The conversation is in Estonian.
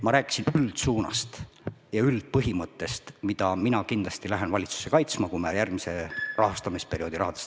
Ma rääkisin üldsuunast ja üldpõhimõttest, mida mina kindlasti lähen valitsusse kaitsma, kui me räägime järgmise rahastamisperioodi rahadest.